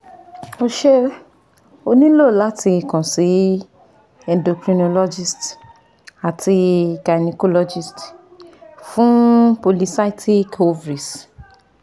O ṣé O nilo lati kan si endocrinologist ati gynacologist fun polycystic overies